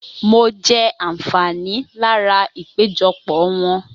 Mo jẹ àǹfààní lára ìpéjọpọ̀ wọn